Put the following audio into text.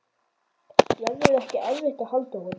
Verður ekki erfitt að halda honum?